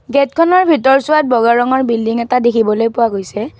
গেটখনৰ ভিতৰচোৱাত বগা ৰঙৰ বিল্ডিং এটা দেখিবলৈ পোৱা গৈছে।